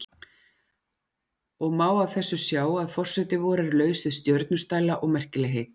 Og má af þessu sjá að forseti vor er laus við stjörnustæla og merkilegheit.